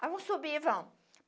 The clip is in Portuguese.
Vamos subir, vamos.